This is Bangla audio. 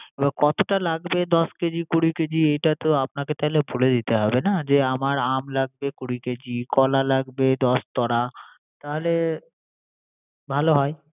কতটা লাগবে দশ কেজি কুড়ি কেজি এটা তো আপনাকে তাহলে বলে দিতে হবে না। যে আম লাগবে কুড়ি কেজি, কলা লাগবে দশ তরা। তাহলে ভালো হয়